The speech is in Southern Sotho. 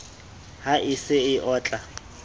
ha e se e otla